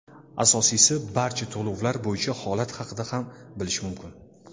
Asosiysi, barcha to‘lovlar bo‘yicha holat haqida ham bilish mumkin.